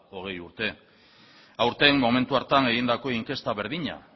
hogei urte aurten momentu hartan egindako inkesta berdina